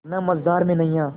ना मझधार में नैय्या